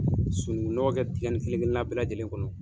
Sunukun nɔgɔ kɛ dingɛ nin kelen kelen na bɛɛ lajɛlen kɔnɔ.